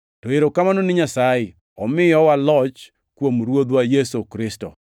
To erokamano ni Nyasaye. Omiyowa loch kuom Ruodhwa Yesu Kristo!